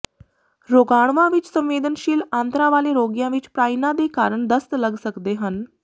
ਰੋਗਾਣੂਆਂ ਵਿੱਚ ਸੰਵੇਦਨਸ਼ੀਲ ਆਂਦਰਾਂ ਵਾਲੇ ਰੋਗੀਆਂ ਵਿੱਚ ਪ੍ਰਾਈਨਾਂ ਦੇ ਕਾਰਨ ਦਸਤ ਲੱਗ ਸਕਦੇ ਹਨ